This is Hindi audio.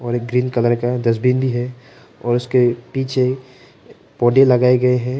ग्रीन कलर का डस्टबिन भी है और उसके पीछे पौधे लगाए गए हैं।